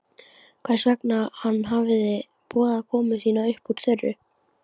Hvers vegna hann hefði boðað komu sína upp úr þurru.